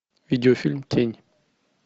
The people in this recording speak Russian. видеофильм тень